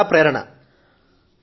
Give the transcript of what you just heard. మరి వారు చాలా బాగా చదువు చెప్తారు